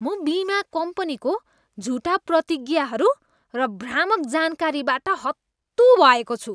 म बिमा कम्पनीको झुटा प्रतिज्ञाहरू र भ्रामक जानकारीबाट हत्तु भएको छु।